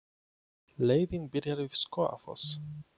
Leiðin byrjar við Skógafoss.